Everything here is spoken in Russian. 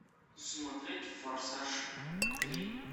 смотреть форсаж три